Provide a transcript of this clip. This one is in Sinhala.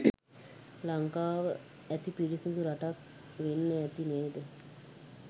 ලංකාව අති පිරිසිඳු රටක් වෙන්න අති නේද?